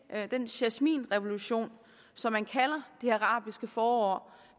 at den jasminrevolution som man kalder det arabiske forår